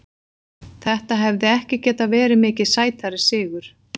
Þetta hefði ekki getað verið mikið sætari sigur.